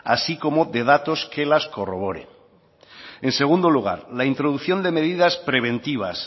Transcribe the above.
así como de datos que las corroboren en segundo lugar la introducción de medidas preventivas